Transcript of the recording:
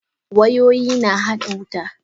Wayoyi na hada wuta.